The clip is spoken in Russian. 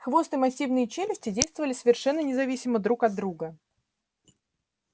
хвост и массивные челюсти действовали совершенно независимо друг от друга